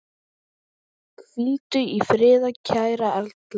Hvíldu í friði kæra Erla.